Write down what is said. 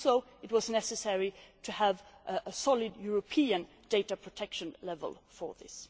It was also necessary to have a solid European data protection level for this.